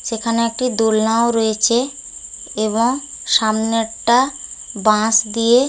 সেখানে একটি দোলনা ও রয়েছে এবং সামনেরটা বাঁশ দিয়ে--